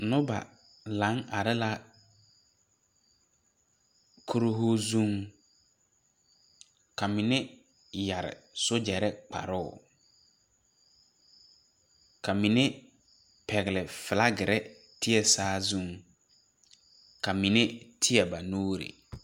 Noba laŋ are la kurihu zuŋ ka mine yɛre sojare kparoo ka mine pɛgle filakiri teɛ saa zuŋ ka mine teɛ ba nuuri.